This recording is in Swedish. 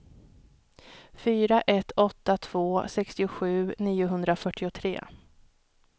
fyra ett åtta två sextiosju niohundrafyrtiotre